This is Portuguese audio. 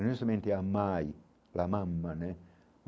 E não somente a mãe, né?